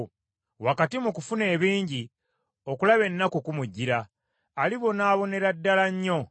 Wakati mu kufuna ebingi okulaba ennaku kumujjira; alibonaabonera ddala nnyo.